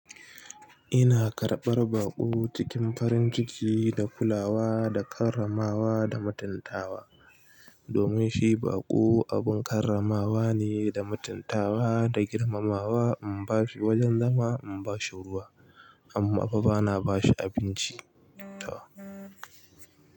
Ina karɓar baƙo cikin farin ciki da kulawa da karramawa da mutantawa domin shi baƙo abun karramawa ne da matantawa da girmamawa. In bashi wajen zama in bashi ruwa amma fa bana bashi abinci. Tam.